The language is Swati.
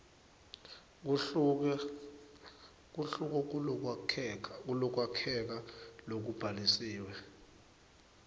kuhluke kulokwakheka lokubhalisiwe